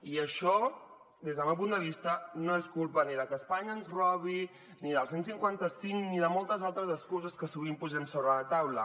i això des del meu punt de vista no és culpa ni de que espanya ens robi ni del cent i cinquanta cinc ni de moltes altres excuses que sovint posem sobre la taula